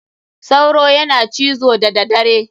Sauro yana cizo da da dare.